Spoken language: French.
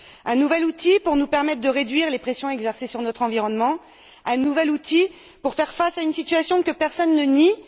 Il nous faut en faire un nouvel outil pour nous permettre de réduire les pressions exercées sur notre environnement, un nouvel outil pour faire face à une situation que personne ne nie.